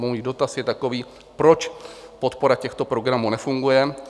Můj dotaz je takový: Proč podpora těchto programů nefunguje?